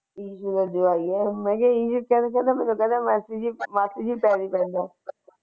issue ਦਾ ਜਵਾਈ ਹੈ ਮੈਨੂੰ ਕਹਿੰਦਾ ਮਾਸੀ ਜੀ ਪੈਰੀ ਪੈਣਾ